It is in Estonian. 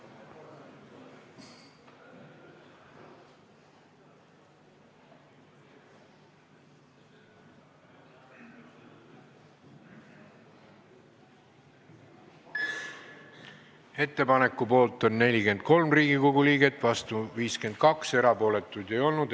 Hääletustulemused Ettepaneku poolt on 43 ja vastu 52 Riigikogu liiget, erapooletuid ei olnud.